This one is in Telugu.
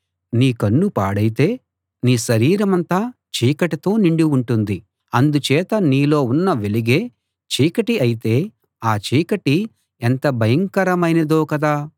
నీ కన్ను పాడైతే నీ శరీరమంతా చీకటితో నిండి ఉంటుంది అందుచేత నీలో ఉన్న వెలుగే చీకటి అయితే ఆ చీకటి ఎంత భయంకరమైనదో కదా